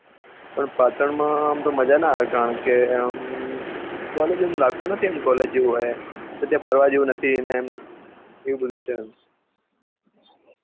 પણ પાટણ માં મજા ના આવે આમ તો કારણકે અમ college એમ લાગતું નથી college હોય એમ પછી ત્યાં ફરવા જેવું નથી એમ એવું બધુ છે એમ